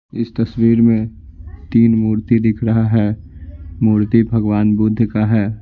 इस तस्वीर में तीन मूर्ति दिख रहा है मूर्ति भगवान बुद्ध का है।